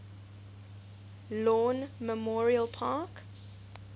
lawn memorial park